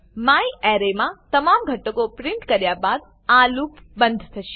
મ્યારે માં તમામ ઘટકો પ્રીંટ કર્યા બાદ આ લૂપ બંધ થશે